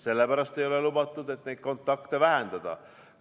Sellepärast ei ole lubatud, et nii saame kontakte vähendada.